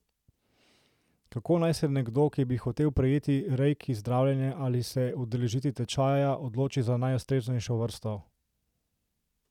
Kako naj se nekdo, ki bi hotel prejeti reiki zdravljenje ali se udeležiti tečaja, odloči za najustreznejšo vrsto?